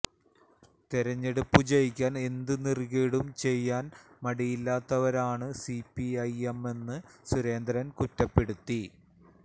തെരഞ്ഞെടുപ്പ് ജയിക്കാന് എന്ത് നെറികേടും ചെയ്യാന് മടിയില്ലാത്തവരാണ് സിപിഎമ്മെന്ന് സുരേന്ദ്രന് കുറ്റപ്പെടുത്തി